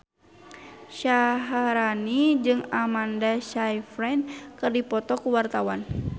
Syaharani jeung Amanda Sayfried keur dipoto ku wartawan